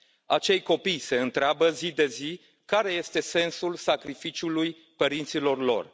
Acei copii se întreabă zi de zi care este sensul sacrificiului părinților lor.